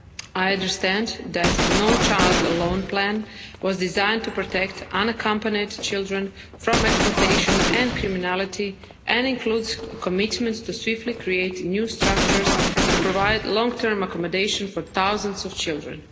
I understand that the No Child Alone plan was designed to protect unaccompanied children from exploitation and criminality and includes commitments to swiftly create new structures to provide long term accommodation for thousands of children.